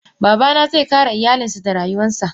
Babana ze kare iyalinsa da rayuwansa.